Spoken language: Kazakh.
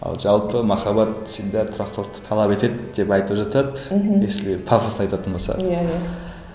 ал жалпы махаббат всегда тұрақтылықты талап етеді деп айтып жатады мхм если пафосно айтатын болсақ иә иә